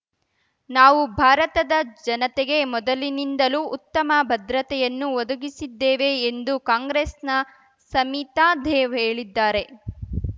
ನಾವು ಭಾರತದ ಜನತೆಗೆ ಮೊದಲಿನಿಂದಲೂ ಉತ್ತಮ ಭದ್ರತೆಯನ್ನು ಒದಗಿಸಿದ್ದೇವೆ ಎಂದು ಕಾಂಗ್ರೆಸ್‌ನ ಸಮಿತಾದೇವ್ ಹೇಳಿದ್ದಾರೆ